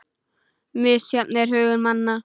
Misjafn er hugur manna